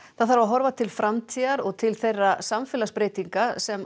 það þarf að horfa til framtíðar og til þeirra samfélagsbreytinga sem